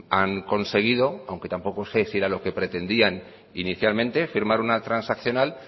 han conseguido aunque tampoco sé si era lo que pretendían inicialmente firmar una transaccional